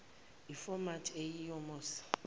iformat eyiyo musa